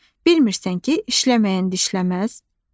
Bilmirsən ki, işləməyən dişləməz?